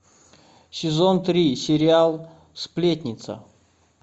сезон три сериал сплетница